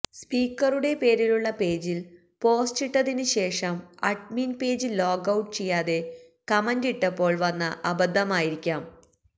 സ്പീക്കറുടെ പേരിലുള്ള പേജിൽ പോസ്റ്റിട്ടതിന് ശേഷം അഡ്മിൻ പേജ് ലോഗ്ഔട്ട് ചെയ്യാതെ കമന്റിട്ടപ്പോൾ വന്ന അബന്ധമായിരിക്കാം